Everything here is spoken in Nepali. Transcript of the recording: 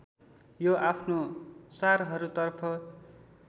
यो आफ्नो चारहरूतर्फ